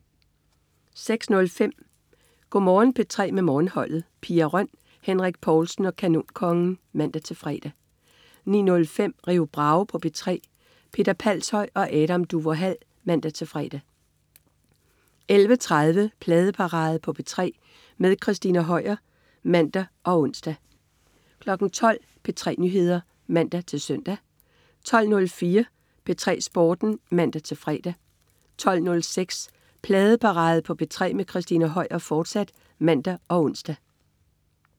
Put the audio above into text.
06.05 Go' Morgen P3 med Morgenholdet. Pia Røn, Henrik Povlsen og Kanonkongen (man-fre) 09.05 Rio Bravo på P3. Peter Palshøj og Adam Duvå Hall (man-fre) 11.30 Pladeparade på P3 med Christina Høier (man og ons) 12.00 P3 Nyheder (man-søn) 12.04 P3 Sporten (man-fre) 12.06 Pladeparade på P3 med Christina Høier, fortsat (man og ons)